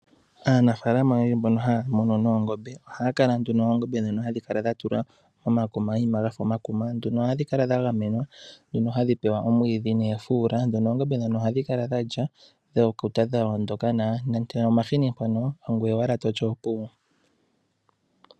Aanafaalama oyendji mbono haya munu noongombe, ohaya kala noongombe dhawo, ndhono hadhi kala dha tulwa momayima ga fa omakuma. Ohadhi kala dha gamenwa nohadhi pewa omwiidhi noofuula. Ndhono oongombe ohadhi kala dha lya dha kuta, dha ondoka nawa. Nande omahini mpono ongoye owala toti opuwo.